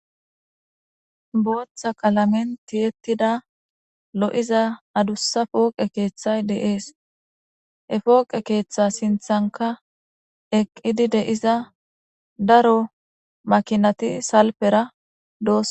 Booththa kalamenti ettida lo'iza adussa pooqe keeththay deees he pooqe keeththa sinthanka eqqidi deiza daro makinati salpera doo..